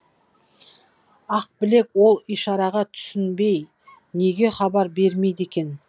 ақбілек ол ишараға түсінбей неге хабар бермейді екен